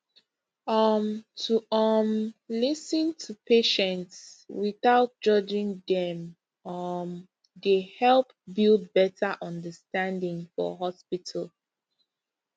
um to um lis ten to patients without judging dem um dey help build better understanding for hospital